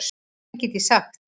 Hvað get ég sagt?